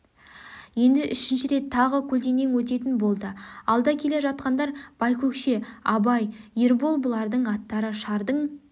енді үшінші рет тағы көлденең өтетін болды алда келе жатқандар байкөкше абай ербол бұлардың аттары шардың